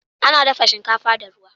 Ana dafa shinkafa da ruwa.